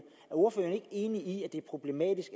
ordføreren ikke enig i at det er problematisk